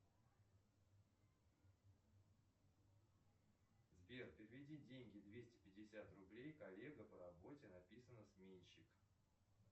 сбер переведи деньги двести пятьдесят рублей коллега по работе написано сменщик